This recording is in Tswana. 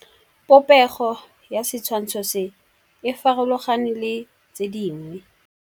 Popêgo ya setshwantshô se, e farologane le tse dingwe.